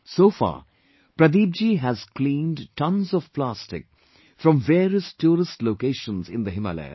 So far, Pradeep ji has cleaned tons of plastic from various tourist locations in the Himalayas